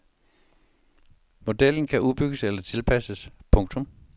Modellen kan udbygges eller tilpasses. punktum